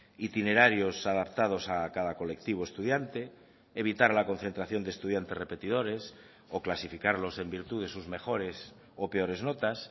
itinerarios adaptados a cada colectivo estudiante evitar la concentración de estudiantes repetidores o clasificarlos en virtud de sus mejores o peores notas